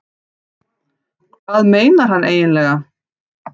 Hvað meinar hann eiginlega?